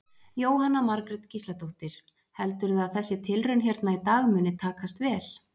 Jóhanna Margrét Gísladóttir: Heldurðu að þessi tilraun hérna í dag muni takast vel?